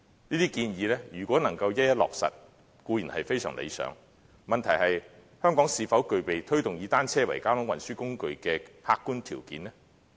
這些建議如能一一落實，固然非常理想，問題是香港是否具備推動以單車為交通運輸工具的客觀條件呢？